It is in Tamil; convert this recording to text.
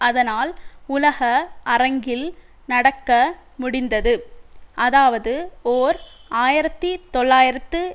அதனால் உலக அரங்கில் நடக்க முடிந்தது அதாவது ஓர் ஆயிரத்தி தொள்ளாயிரத்து